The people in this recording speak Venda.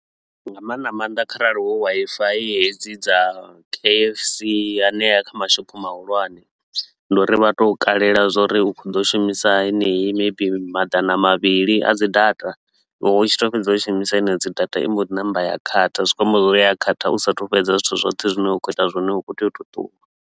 Nga maanḓa maanḓa kharali hu Wi-Fi hedzi dza K_F_C hanea kha mashopho mahulwane. Ndi uri vha tou kalelwa zwa uri u khou ḓo shumisa henei maybe madana mavhili a dzi data, u tshi tou fhedza u shumisa henedzo dzi data i mbo ḓi namba ya khatha. Zwi kho amba zwa uri ya khatha u sa a thu fhedza zwithu zwoṱhe zwine wa khou ita zwone u khou tea u tou ṱuwa.